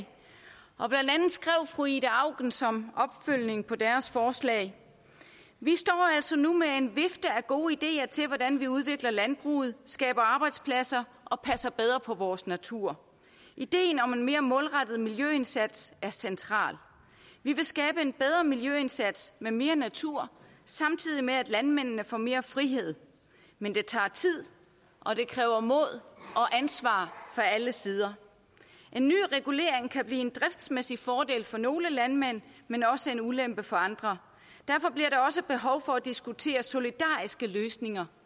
fru ida auken som opfølgning på deres forslag vi står altså nu med en vifte af gode ideer til hvordan vi udvikler landbruget skaber arbejdspladser og passer bedre på vores natur ideen om en mere målrettet miljøindsats er central vi vil skabe en bedre miljøindsats med mere natur samtidig med at landmændene får mere frihed men det tager tid og det kræver mod og ansvar fra alle sider en ny regulering kan blive en driftsmæssig fordel for nogle landmænd men også en ulempe for andre derfor bliver der også behov for at diskutere solidariske løsninger